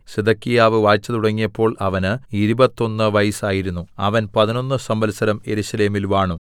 സിദെക്കീയാവ് വാഴ്ച തുടങ്ങിയപ്പോൾ അവന് ഇരുപത്തൊന്ന് വയസ്സായിരുന്നു അവൻ പതിനൊന്ന് സംവത്സരം യെരൂശലേമിൽ വാണു